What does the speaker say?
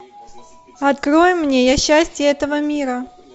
открой мне я счастье этого мира